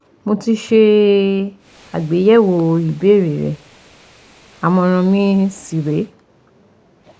Mo ti ṣe àgbéyẹ̀wò ìbéèrè rẹ àmọ̀ràn mi sì rè é